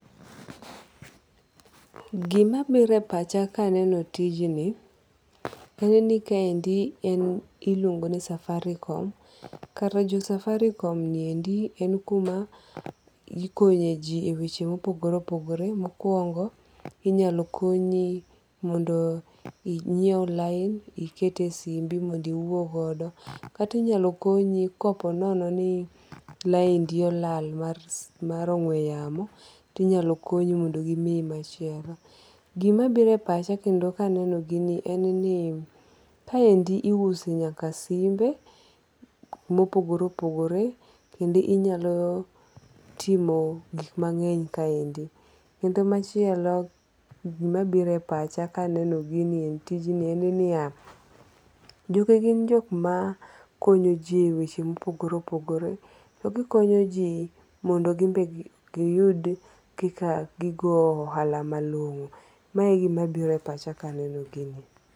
Gimabiro e pacha ka eneno tijni en ni kaendi iluongo ni Safaricom. Kar jo Safaricom ni endi en kuma ikonyeji e weche ma opogore opogore , mokuongo' inyalo konyi mondo inyiew line ikete simbi mbodo iwuo godo kata inyalo konyi koponono ni linedi olal mar ong'we yamo to inyalo konyi mondo gimiyi machielo. Gimabiro e pacha kendo ka aneno gini en ni kaendi iuse nyaka simbe mopogore opogore kendo inyalo timo gik mange'ny kaendi. Kendo machielo gimabiro pacha ka aneno tijni en niya jogi gin jok ma konyo ji e weche ma opogore opogore gikonyo ji mondo gimbe gi giyud kika gigo ohala malongo' mae e gimabiro e pacha ka aneno gini